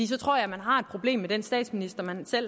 så tror jeg man har et problem med den statsminister man